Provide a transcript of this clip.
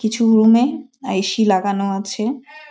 কিছু রুম -এ এ.সি লাগানো আছে।